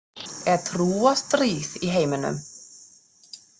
Er trúarstríð í heiminum?